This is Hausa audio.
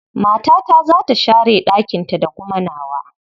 Matata za ta share ɗakinta da kuma nawa.